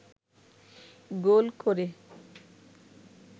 গোল করে